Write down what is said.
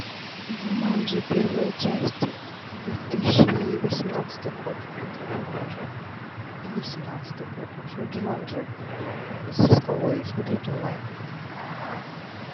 джуманджи первая часть две тысячи восемнадцатый год смотреть онлайн или семнадцатый год в общем джуманджи со скалой смотреть онлайн